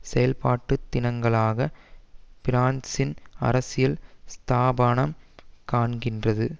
செயல்பாட்டு தினங்களாக பிரான்சின் அரசியல் ஸ்தாபானம் காண்கின்றது